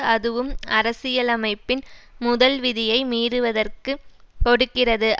அதுவும் அரசியலமைப்பின் முதல் விதியை மீறுவதற்கு கொடுக்கிறது